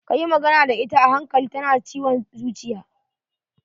Ka yi magana da ita a hankali, ta na da ciwon zuciya.